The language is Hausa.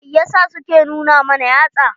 Mai yasa su ke nuna mana yatsa?